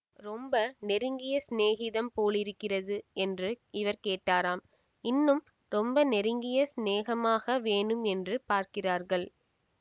ரொம்ப நெருங்கிய சிநேகிதம் போலிருக்கிறது என்று இவர் கேட்டாராம் இன்னும் ரொம்ப நெருங்கிய சிநேகமாக வேணும் என்று பார்க்கிறார்கள்